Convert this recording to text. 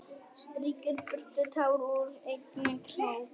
Strýkur burtu tár úr augnakrók.